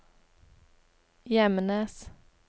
Gjemnes